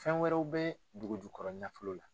Fɛn wɛrɛw bɛ dugu jugukɔrɔ nafolo la.